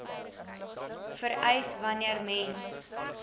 vereis wanneer mens